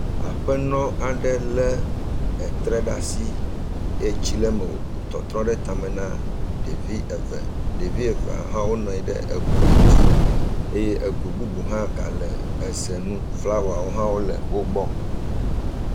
Aƒenɔ aɖe lé etre ɖe asi, etsi le me wòtɔtrɔ ɖe tame na ɖevi eve, ɖevi evea hã wonɔ anyi ɖe egoe dzi eye egoe bubu hã gale eze nu, flawawo hã wole wo gbɔ.